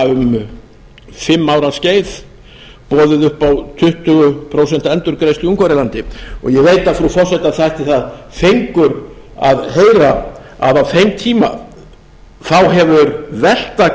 um fimm ára skeið boðið upp á tuttugu prósent endurgreiðslu í ungverjalandi og ég veit að frú forseta þætti það fengur að heyra að á þeim tíma þá hefur velta